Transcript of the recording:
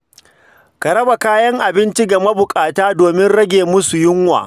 Ka raba kayan abinci ga mabukata domin rage musu yunwa.